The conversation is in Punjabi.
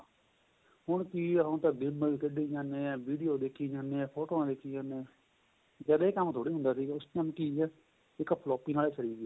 ਹੁਣ ਕਿ ਏ ਹੁਣ ਤਾਂ ਕੱਢੀ ਜਾਂਣੇ ਏ video ਦੇਖੀ ਜਾਂਣੇ ਏ ਫੋਟੋਆਂ ਦੇਖੀ ਜਾਂਣੇ ਏ ਜਦ ਏਹ ਕੰਮ ਥੋੜੀ ਹੁੰਦਾ ਸੀਗਾ ਉਸ time ਕਿ ਏ ਇੱਕ floppy ਨਾਲ ਸਰੀਂ ਗਿਆ